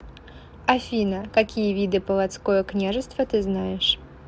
афина какие виды полоцкое княжество ты знаешь